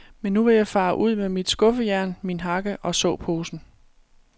Men nu vil jeg fare ud med mit skuffejern, min hakke og såposen.